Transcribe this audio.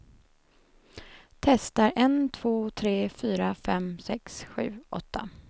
Testar en två tre fyra fem sex sju åtta.